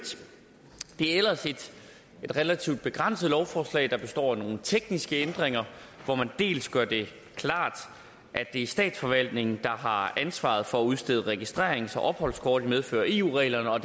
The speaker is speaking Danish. det er ellers et relativt begrænset lovforslag der består af nogle tekniske ændringer hvor man dels gør det klart at det er statsforvaltningen der har ansvaret for at udstede registrerings og opholdskort i medfør af eu reglerne og